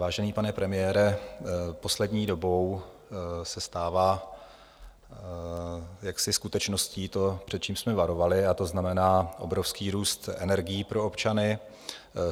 Vážený pane premiére, poslední dobou se stává jaksi skutečností to, před čím jsme varovali, a to znamená obrovský růst energií pro občany.